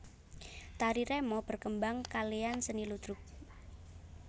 Tari remo berkembang kalean seni ludruk